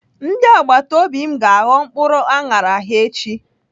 Ndị agbatobi m ga-aghọ mkpụrụ aṅara ha echi.